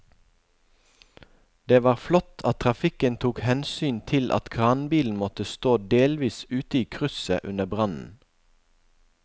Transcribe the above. Det var flott at trafikken tok hensyn til at kranbilen måtte stå delvis ute i krysset under brannen.